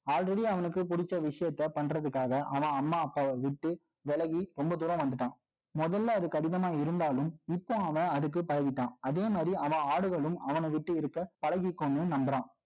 already அவனுக்கு புடிச்ச விஷயத்த, பண்றதுக்காக, அவன் அம்மா, அப்பாவை விட்டு, விலகி, ரொம்ப தூரம் வந்துட்டான். முதல்ல, அது கடினமா இருந்தாலும், இப்ப, அவன், அதுக்கு பழகிட்டான். அதே மாரி, அவன் ஆடுகளும், அவன விட்டு இருக்க, பழகிக்கும்ன்னு, நம்புறான்